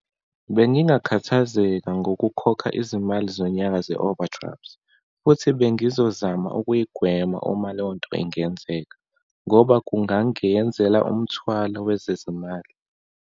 Bengingakhathazeka ngokukhokha izimali zonyaka ze-overdraft, futhi bengizozama ukuyigwema uma leyonto ingenzeka, ngoba kungangeyenzela umthwalo wezezimali.